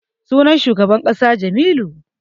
Sunan shugaban makarantar Jamilu.